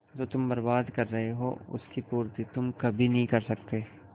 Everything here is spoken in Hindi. जो तुम बर्बाद कर रहे हो उसकी पूर्ति तुम कभी नहीं कर सकते